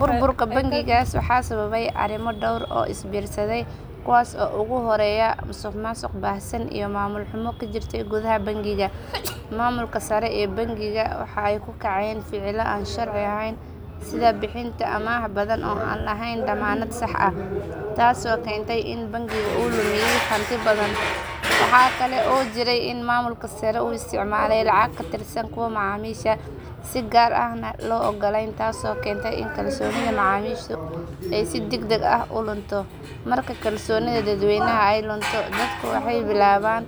Burburka bangigaas waxaa sababay arrimo dhowr ah oo isbiirsaday kuwaas oo ugu horreeya ahaa musuqmaasuq baahsan iyo maamul xumo ka jirtey gudaha bangiga. Maamulka sare ee bangiga waxa ay ku kacayeen ficillo aan sharci ahayn sida bixinta amaah badan oo aan lahayn dammaanad sax ah taasoo keentay in bangiga uu lumiya hanti badan. Waxaa kale oo jiray in maamulka sare uu isticmaalayay lacago ka tirsan kuwa macaamiisha si gaar ah oo aan loo ogolayn taas oo keentay in kalsoonidii macaamiishu ay si degdeg ah u lunto. Marka kalsoonida dadweynaha ay lunto dadku waxay bilaabaan